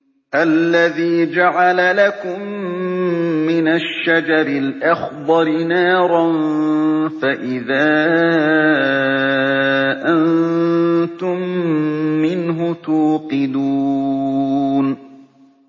الَّذِي جَعَلَ لَكُم مِّنَ الشَّجَرِ الْأَخْضَرِ نَارًا فَإِذَا أَنتُم مِّنْهُ تُوقِدُونَ